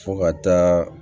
Fo ka taa